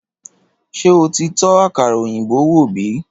Ṣé o ti tó àkàrà òyìnbó wò bi